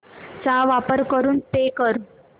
चा वापर करून पे कर